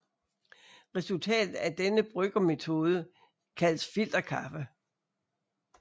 Resultatet af denne bryggemetode kaldes filterkaffe